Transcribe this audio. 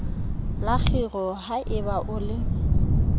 la kgiro haeba o le